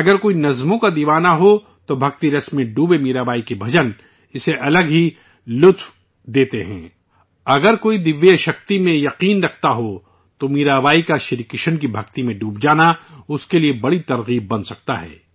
اگر کسی کو شاعری سے محبت ہو، تو بھکتی رس میں ڈوبے میرا بائی کے بھجن، اسے الگ ہی مزہ دیتے ہیں، اگر کوئی غیبی طاقت میں یقین رکھتا ہو، تو میرا بائی کا شری کرشن میں محو ہو جانا اس کے لیے ایک بڑا سبق بن سکتا ہے